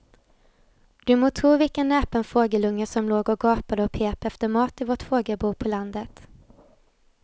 Du må tro vilken näpen fågelunge som låg och gapade och pep efter mat i vårt fågelbo på landet.